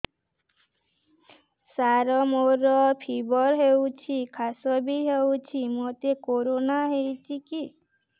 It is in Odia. ସାର ମୋର ଫିବର ହଉଚି ଖାସ ବି ହଉଚି ମୋତେ କରୋନା ହେଇଚି କି